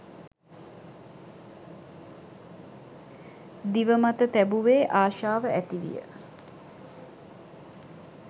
දිව මත තැබුවේ, ආශාව ඇති විය.